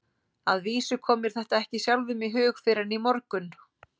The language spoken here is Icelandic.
Að vísu kom mér þetta ekki sjálfum í hug fyrr en í morgun.